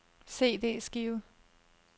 CD-skive